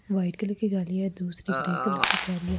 white colour कि गाड़ी हैं दूसरी ग्रे कलर कि गाड़ी हैं औ--